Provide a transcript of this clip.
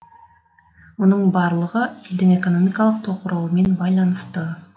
мұның барлығы елдің экономикалық тоқырауымен байланысты